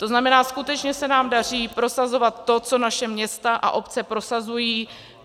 To znamená, skutečně se nám daří prosazovat to, co naše města a obce prosazují.